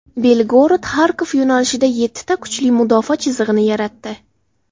BelgorodXarkov yo‘nalishida yettita kuchli mudofaa chizig‘ini yaratdi.